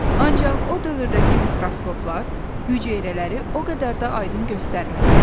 Ancaq o dövrdəki mikroskoplar hüceyrələri o qədər də aydın göstərmirdi.